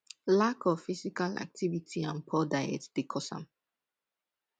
lack of physical activity and poor diet dey cause am